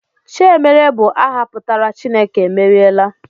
Chiemerie bụ aha pụtara 'Chineke emeriela'